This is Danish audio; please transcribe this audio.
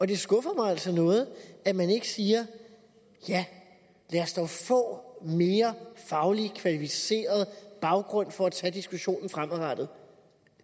det skuffer mig altså noget at man ikke siger ja lad os dog få en mere faglig og kvalificeret baggrund for at tage diskussionen fremadrettet